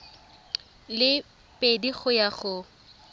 le pedi go ya go